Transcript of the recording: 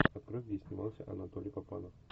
открой где снимался анатолий папанов